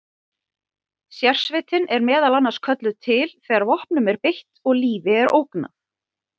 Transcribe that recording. Sérsveitin er meðal annars kölluð til þegar vopnum er beitt og lífi er ógnað.